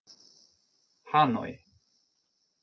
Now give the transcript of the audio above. Hanoi